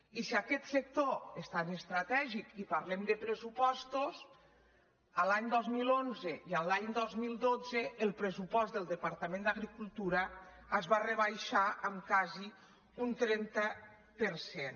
i si aquest sector és tan estratègic i parlem de pressupostos l’any dos mil onze i l’any dos mil dotze el pressupost del departament d’agricultura es va rebaixar en quasi un trenta per cent